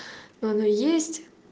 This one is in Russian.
но она есть